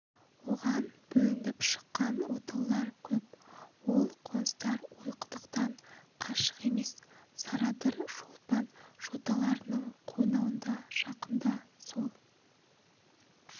оған бөлініп шыққан отаулар көп ол қоныстар ойқұдықтан қашық емес сарадыр шолпан жоталарының қойнауында жақында сол